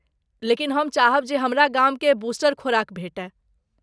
लेकिन हम चाहब जे हमरा गामकेँ बूस्टर खुराक भेटय।